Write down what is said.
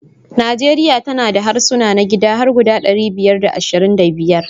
Nijeriya tana da harsuna na gida har guda ɗari biyar da ashirin da biya